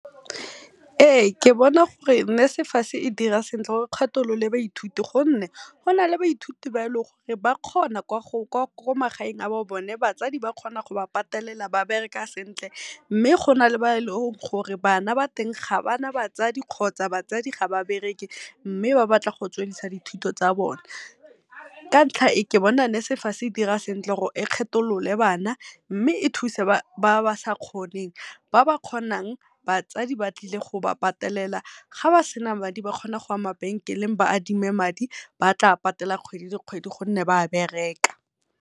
Ee ke bona gore NSFAS e dira sentle gore e kgatholole baithuti gonne gona le baithuti ba e leng gore ba kgona kwa magaeng a bo bona, batsadi ba bereka ba kgona go ba patelela ba bereka sentle. Mme gona le ba e leng gore bana ba teng ga bana batswadi kgotsa batsadi ga ba bereke mme ba batla go tswellisa dithuto tsa bone. Ka ntlha e ke bona NSFAS e dira sentle gore e kgetholole bana, mme e thuse ba ba sa kgoneng ba ba kgonang batsadi ba tlile go ba patelela ga ba sena madi ba kgona go ya mabenkeleng ba adime madi, ba tla patela kgwedi le kgwedi gonne ba bereka.